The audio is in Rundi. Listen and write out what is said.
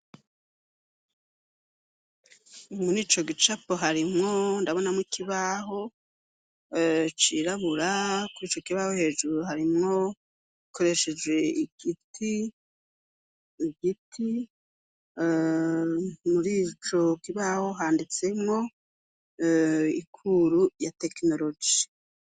Umuni ico gicapo harimwo ndabonamwo ikibaho cirabura kura ico kibaho hejuru harimwo gikoresheje igiti igiti muri ico kibaho handitsemwoe ekuru ya teknoloji.